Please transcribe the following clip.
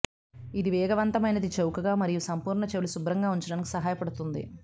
ఇది వేగవంతమైనది చౌకగా మరియు సంపూర్ణ చెవులు శుభ్రంగా ఉంచడానికి సహాయపడుతుంది